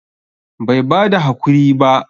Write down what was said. Bai bada hakuri ba?